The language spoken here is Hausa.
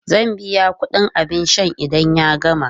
Zai biya kudin abin sha idan ya gama.